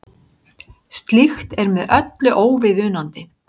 Slíkt er með öllu óviðunandi